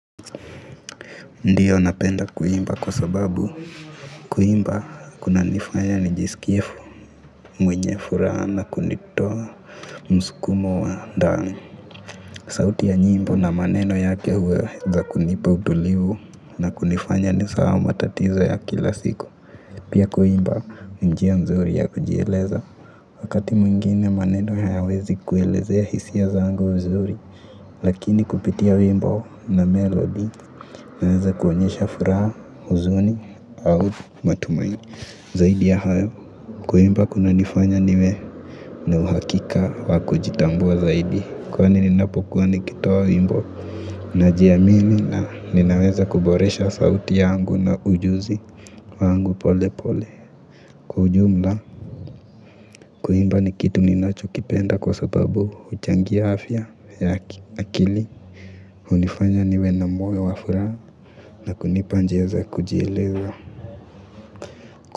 Ndiyo, napenda kuimba kwa sababu kuimba kunanifanya nijisikie mwenye furaha na kunitoa msukumo wa ndani. Sauti ya nyimbo na maneno yake huweza kunipa utulivu na kunifanya nisahau matatizo ya kila siku. Pia kuimba ni njia mzuri ya kujieleza wakati mwingine maneno hayawezi kuelezea hisia zangu vizuri lakini kupitia wimbo na melody naweza kuonyesha furaha, huzuni au matumaini. Zaidi ya hayo kuimba kunanifanya niwe na uhakika wa kujitambua zaidi kwani ninapokuwa nikitaoa wimbo. Najiamini na ninaweza kuboresha sauti yangu na ujuzi wangu pole pole. Kwa jumla kuimba ni kitu ninachokipenda kwa sababu huchangia afya ya akili hunifanya niwe na moyo wa furaha na kunipa njia za kujieleza.